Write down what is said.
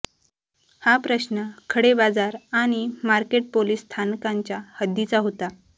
हा सीमाप्रश्न खडेबाजार आणि मार्केट पोलीस स्थानकांच्या हद्दीचा होता